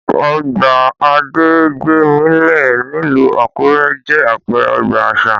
Ọgbà Adégbémilé nílùú Àkúrẹ́ jẹ́ àpẹẹrẹ ọgbà àṣà